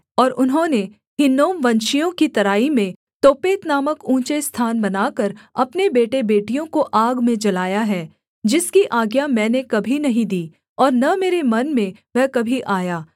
और उन्होंने हिन्नोमवंशियों की तराई में तोपेत नामक ऊँचे स्थान बनाकर अपने बेटेबेटियों को आग में जलाया है जिसकी आज्ञा मैंने कभी नहीं दी और न मेरे मन में वह कभी आया